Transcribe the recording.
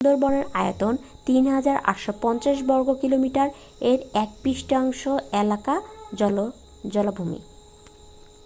সুন্দরবনের আয়তন 3,850 বর্গ কিলোমিটার এর এক-তৃতীয়াংশ এলাকা জলাভূমি